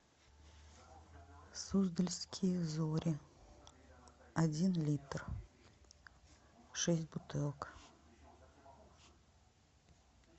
суздальские зори один литр шесть бутылок